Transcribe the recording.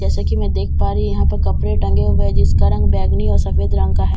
जैसा की मैं देख पा रही हूँ यहां पे कपडे टंगे हुए हैं जिसका रंग बैगनी और सफेद रंग का हैं --